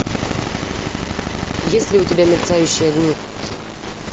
есть ли у тебя мерцающие огни